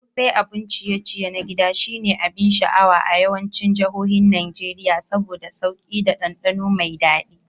Ƙosai, abun ciye-ciye na gida, shine abin sha'awa a yawancin jihohin Najeriya saboda sauki da dandano mai dadi.